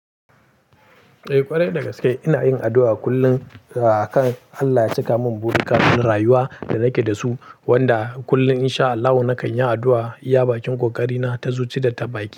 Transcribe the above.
Eh ƙwarai da gaske ina yin addu'a kullum akan Allah ya cika min burika na rayuwa da nake da su wanda kullum in sha Allahu nakan yi addu'a iya bakin kokarina ta zuci da ta baki.